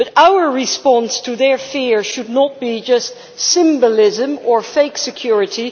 But our response to their fear should not be just symbolism or fake security.